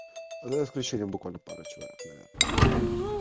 за исключением буквально пары человек наверное